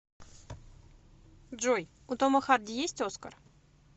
джой у тома харди есть оскар